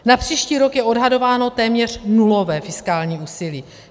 Na příští rok je odhadováno téměř nulové fiskální úsilí.